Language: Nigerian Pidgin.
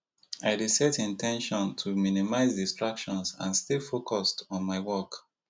i dey set in ten tion to minimize distractions and stay focused on my work